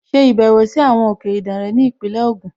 Ṣe ìbẹ̀wò sí àwọn òkè Ìdànre ní Ìpínlẹ̀ Ògùn!